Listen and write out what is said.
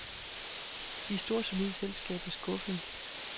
De store solide selskaber skuffede.